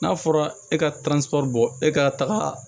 N'a fɔra e ka bɔ e ka taga